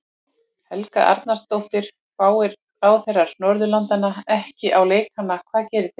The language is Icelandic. Helga Arnardóttir: Fari ráðherrar Norðurlandanna ekki á leikana hvað gerið þið?